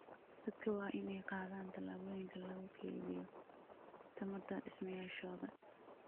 Dadka waa in ay qaadaan tallaabooyin lagu keydiyo tamarta dhismayaashooda.